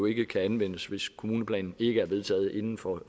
ikke kan anvendes hvis kommuneplanen ikke er vedtaget inden for